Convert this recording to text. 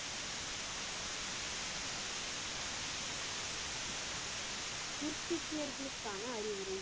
சீக்கியர்களுக்கான அறிவுரை